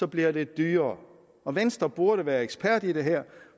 bliver det dyrere og venstre burde være ekspert i det her